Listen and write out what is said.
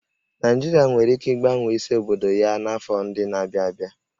Naịjirịa nwere ike ịgbanwe isi obodo ya n'afọ ndị na-abịa abịa